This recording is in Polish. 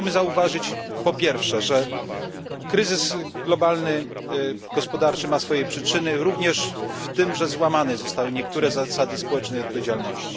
Chciałbym zauważyć po pierwsze, że globalny kryzys gospodarczy ma swoje przyczyny również w tym, że złamane zostały niektóre zasady społecznej odpowiedzialności.